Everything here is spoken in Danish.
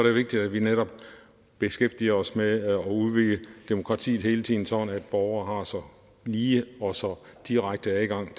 vigtigt at vi netop beskæftiger os med at udvide demokratiet hele tiden sådan at borgere har så lige og så direkte adgang